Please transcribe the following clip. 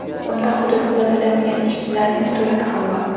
Unda hududni tozalayotgan ishchilarning surati ham bor.